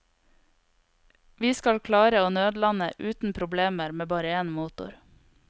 Vi skal klare å nødlande uten problemer med bare én motor.